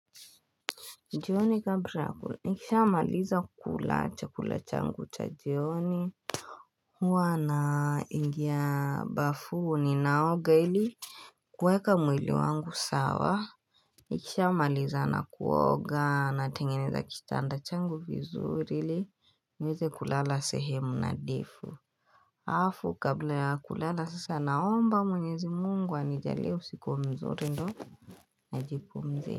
Jioni kabla nikishamaliza kula chakula changu cha jioni huwa naingia bafu ninaoga ili kuweka mwili wangu sawa Nikishamalizana na kuoga natengeneza kitanda changu vizuri ili niweze kulala sehemu nadhifu Alafu kabla ya kulala sasa naomba mwenyezi mungu anijalie usiku mzuri ndo Najipumzisha.